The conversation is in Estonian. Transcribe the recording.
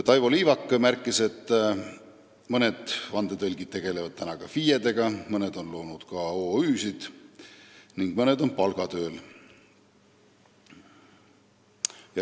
Taivo Liivak märkis, et mõned vandetõlgid tegutsevad FIE-na, mõned on loonud OÜ-sid ning mõned on palgatööl.